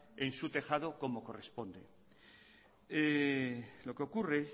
en su tejado como corresponde lo que ocurre